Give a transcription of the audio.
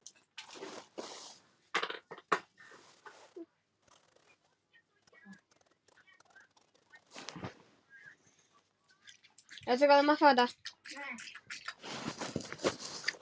Sem oftar.